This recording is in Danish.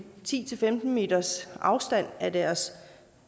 ti til femten meters afstand af deres